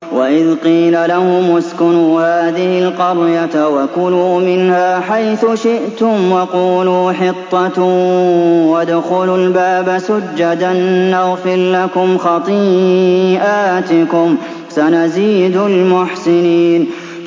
وَإِذْ قِيلَ لَهُمُ اسْكُنُوا هَٰذِهِ الْقَرْيَةَ وَكُلُوا مِنْهَا حَيْثُ شِئْتُمْ وَقُولُوا حِطَّةٌ وَادْخُلُوا الْبَابَ سُجَّدًا نَّغْفِرْ لَكُمْ خَطِيئَاتِكُمْ ۚ سَنَزِيدُ الْمُحْسِنِينَ